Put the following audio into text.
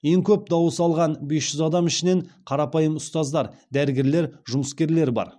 ең көп дауыс алған бес жүз адам ішінен қарапайым ұстаздар дәрігерлер жұмыскерлер бар